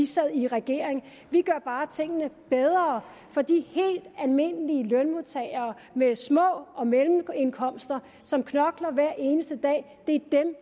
sad i regering vi gør bare tingene bedre for de helt almindelige lønmodtagere med små og mellemindkomster som knokler hver eneste dag det